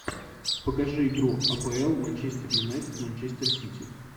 покажи игру апл манчестер юнайтед манчестер сити